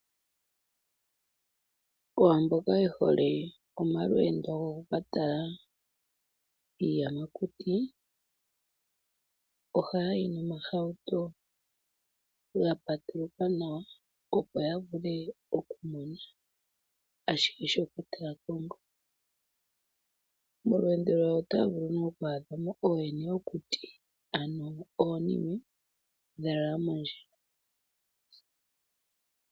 Aantu mboka ye hole omalweendo gokukatala iiyamakuti ohaya yi noohawuto dha andjuka nawa, opo ya vule okumona ko nawa iinamwenyo. Molweendo lwawo otaya vulu okutsakaneka iinamwenyo yoludhi kehe, unene tuu ooyene yokuti( oonkoshi) mboka haya kala ya lala mondjila yoohauto.